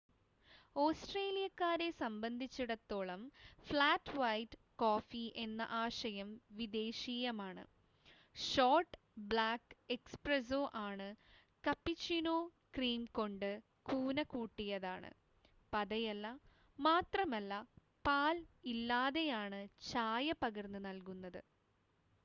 ഓസ്‌ട്രേലിയക്കാരെ സംബന്ധിച്ചിടത്തോളം 'flat white' coffee എന്ന ആശയം വിദേശീയമാണ്. ഷോർട്ട് ബ്ലാക്ക് 'എസ്പ്രസ്സോ' ആണ് കപ്പുച്ചിനോ ക്രീം കൊണ്ട് കൂന കൂട്ടിയതാണ് പതയല്ല മാത്രമല്ല പാൽ ഇല്ലാതെയാണ് ചായ പകർന്ന് നൽകുന്നത്